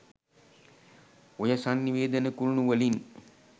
ඔය සන්නිවේදන කුළුණු වලින්